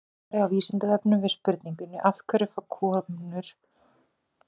Í svari á Vísindavefnum við spurningunni Af hverju fá karlmenn skalla en ekki konur?